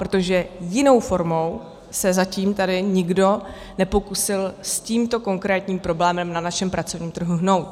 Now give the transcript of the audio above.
Protože jinou formou se zatím tady nikdo nepokusil s tímto konkrétním problémem na našem pracovním trhu hnout.